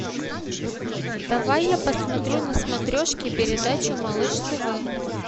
давай я посмотрю на смотрешке передачу малыш тв